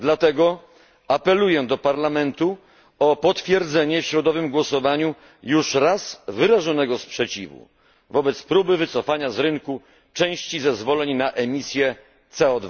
Dlatego apeluję do Parlamentu o potwierdzenie w środowym głosowaniu już raz wyrażonego sprzeciwu wobec próby wycofania z rynku części zezwoleń na emisję CO